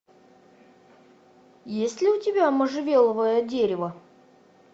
есть ли у тебя можжевеловое дерево